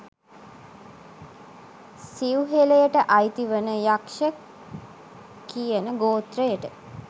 සිව්හෙළයට අයිති වන යක්ෂ කියන ගෝත්‍රයට